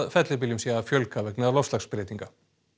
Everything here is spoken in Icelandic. fellibyljum sé að fjölga vegna loftslagsbreytinga